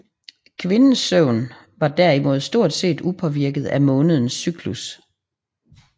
Kvinders søvn var derimod stort set upåvirket af månens cyklus